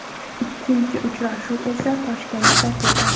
Ikkinchi uchrashuv esa Toshkentda kechadi.